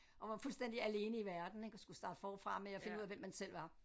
Og man var fuldstændig alene i verden ik og skulle starte forfra med at finde ud af hvem man selv var